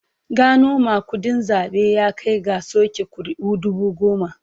Gano magudin zabe ya kai ga soke kuri'u dubu goma.